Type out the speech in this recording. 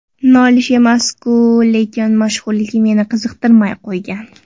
Nolish emas-ku, lekin mashhurlik meni qiziqtirmay qo‘ygan.